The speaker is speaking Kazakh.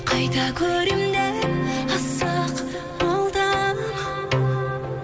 қайта көремін деп асық болдым